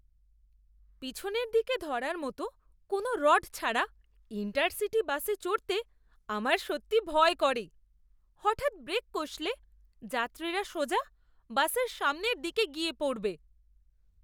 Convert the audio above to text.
পিছনের দিকে ধরার মতো কোনও রড ছাড়া ইণ্টারসিটি বাসে চড়তে আমার সত্যিই ভয় করে। হঠাৎ ব্রেক কষলে যাত্রীরা সোজা বাসের সামনের দিকে গিয়ে পড়বে।